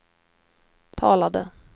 talade